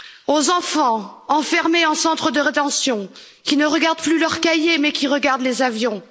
aux enfants enfermés en centre de rétention, qui ne regardent plus leurs cahiers mais qui regardent les avions